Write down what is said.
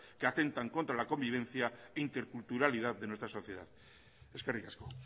que atentan contra la convivencia e interculturalidad de muestra sociedad eskerrik asko